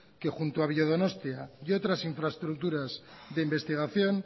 que junto a biodonostia y otras infraestructuras de investigación